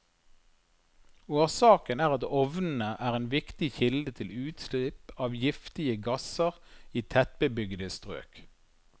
Årsaken er at ovnene er en viktig kilde til utslipp av giftige gasser i tettbebyggede strøk.